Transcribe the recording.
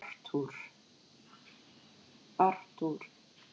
Arthur